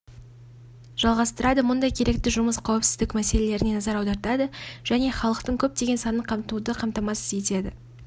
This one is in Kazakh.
жалғастырады мұндай керекті жұмыс қауіпсіздік мәселелеріне назар аудартады және халықтың көптеген санын қамтуды қамтамасыз етеді